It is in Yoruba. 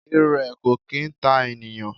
Irẹ kò kì í ta ènìyàn.